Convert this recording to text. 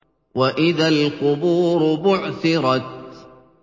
وَإِذَا الْقُبُورُ بُعْثِرَتْ